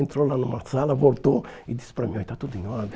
Entrou lá numa sala, voltou e disse para mim, está tudo em ordem.